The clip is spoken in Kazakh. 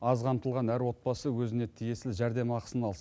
аз қамтылған әр отбасы өзіне тиесілі жәрдемақысын алсын